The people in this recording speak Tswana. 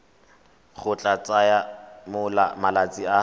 go tla tsaya malatsi a